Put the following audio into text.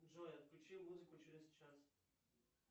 джой отключи музыку через час